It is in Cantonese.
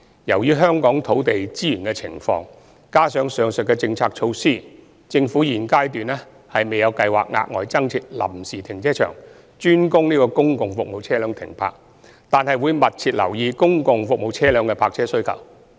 由於香港土地資源的情況，以及上述的政策措施，政府現階段未有計劃額外增設臨時停車場專供公共服務車輛停泊，但會密切留意公共服務車輛的泊車需求。